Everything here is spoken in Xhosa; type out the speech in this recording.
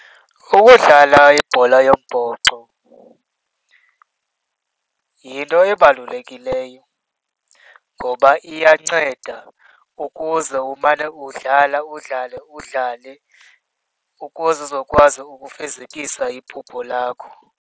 Ukudlala ibhola yombhoxo yinto ebalulekileyo ngoba iyanceda ukuze umane udlala udlale udlale ukuze uzokwazi ukufezekisa iphupho lakho.